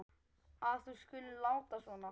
að þú skulir láta svona.